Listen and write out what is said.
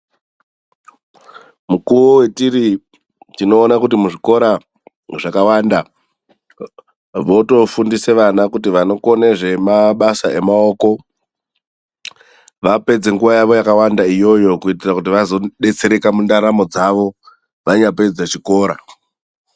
Mukuwo wetiri, tinoona kuti muzvikora zvakawanda votofundisa vana kuti vanokone zvemabasa emaoko. Vapedze nguwa yawo yakawanda iyoyo kuitira kuti vazodetsereka mundaramo dzavo, vanyapedza chikora.